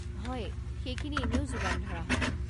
হয়, সেইখিনি এনেও যোগান ধৰা হ'ব।